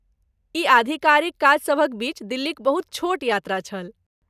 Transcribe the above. ई आधिकारिक काजसभक बीच दिल्लीक बहुत छोट यात्रा छल।